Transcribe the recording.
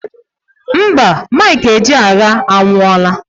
Mba, Michael Ejeagha anwụọla